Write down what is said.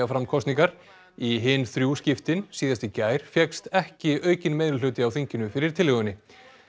fram kosningar í hin þrjú skiptin síðast í gær fékkst ekki aukinn á þinginu fyrir tillögunni